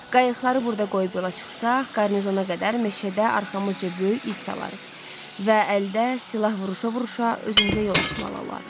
Qayıqları burda qoyub yola çıxsaq, qarnizona qədər meşədə arxamızca böyük iz salarıq və əldə silah vuruşa-vuruşa özümüzə yol açmalı olarıq.